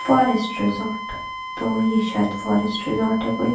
forest resort तो ये शायद फारेस्ट रिसॉर्ट है कोई--